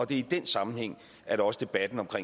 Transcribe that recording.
det er i den sammenhæng at også debatten om